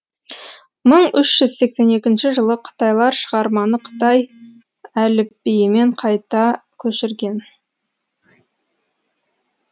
мың үш жүз сексен екінші жылы қытайлар шығарманы қытай әліпбиімен қайта көшірген